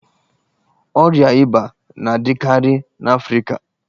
Ọria íbà na-adịkarị n'afrịka.